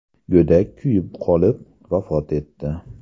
Go‘dak kuyib qolib, vafot etdi.